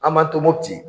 An ma to mopti